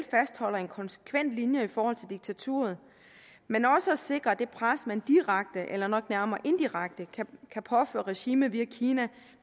fastholder en konsekvent linje i forhold til diktaturet men også sikrer at det pres man direkte eller nok nærmere indirekte kan påføre regimet via kina